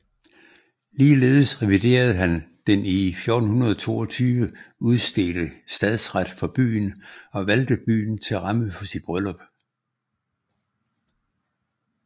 Ligeledes reviderede han den i 1422 udstedte stadsret for byen og valgte byen til ramme for sit bryllup